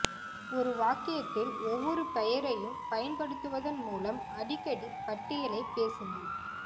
ஒரு வாக்கியத்தில் ஒவ்வொரு பெயரையும் பயன்படுத்துவதன் மூலம் அடிக்கடி பட்டியலைப் பேசுங்கள்